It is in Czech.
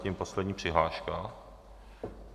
Zatím poslední přihláška.